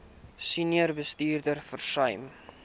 senior bestuurders versuim